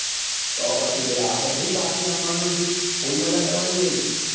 તો પછી ભાઈ આપડે થોડું બાકી રાખવા નું પછી full મજા કરવા ની ભાઈ